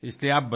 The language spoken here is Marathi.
धन्यवाद